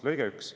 Lõige 1.